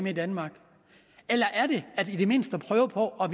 i danmark eller er det i det mindste at prøve på at